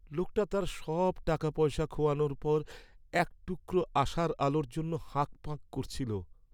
লোকটা তার সব টাকাপয়সা খোয়ানোর পর এক টুকরো আশার আলোর জন্য হাঁকপাঁক করছিল।